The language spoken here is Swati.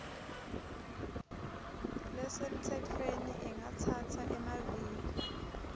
lesemtsetfweni ingatsatsa emaviki